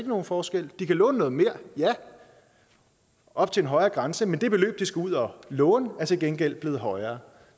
nogen forskel de kan låne noget mere ja op til en højere grænse men det beløb de skal ud og låne er til gengæld blevet højere